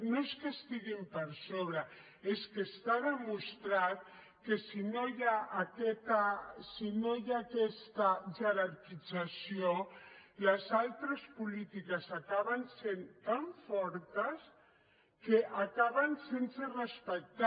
no és que estiguin per sobre és que està demostrat que si no hi ha aquesta jerarquització les altres polítiques acaben sent tan fortes que acaben sense respectar